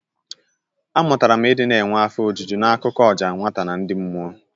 Amụtara m ị dị na-enwe afọ ojuju n'akụkọ ọja nwata na ndị mmụọ.